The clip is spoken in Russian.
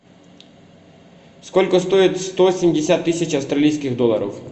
сколько стоит сто семьдесят тысяч австралийских долларов